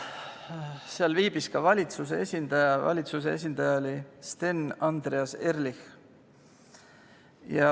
Kohal viibis ka valitsuse esindaja, kelleks oli Sten Andreas Ehrlich.